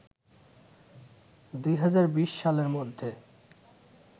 ২০২০ সালের মধ্যে